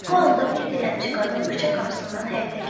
Bu anda bir dilənçi qadın küçə qapısından həyətə girdi.